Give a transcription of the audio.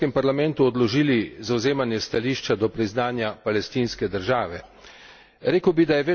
Mi smo včeraj tukaj v Evropskem parlamentu odložili zavzemanje stališča do priznanja palestinske države.